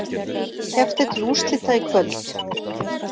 Keppt er til úrslita í kvöld